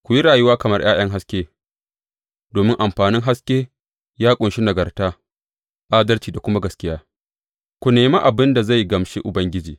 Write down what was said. Ku yi rayuwa kamar ’ya’yan haske domin amfanin haske ya ƙunshi nagarta, adalci, da kuma gaskiya ku nemi abin da zai gamshi Ubangiji.